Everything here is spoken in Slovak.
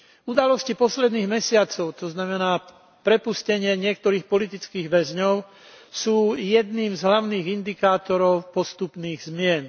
Udalosti posledných mesiacov, to znamená prepustenie niektorých politických väzňov, sú jedným z hlavných indikátorov postupných zmien.